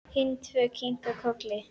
Hin tvö kinka kolli.